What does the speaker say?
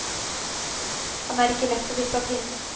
Han er ikke lett å vippe av pinnen.